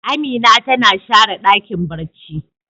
Amina tana share Dakin barci.